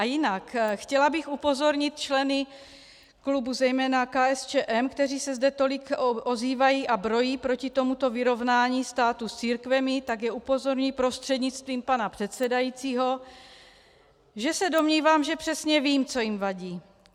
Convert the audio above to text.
A jinak - chtěla bych upozornit členy klubu zejména KSČM, kteří se zde tolik ozývají a brojí proti tomuto vyrovnání státu s církvemi, tak je upozorňuji prostřednictvím pana předsedajícího, že se domnívám, že přesně vím, co jim vadí.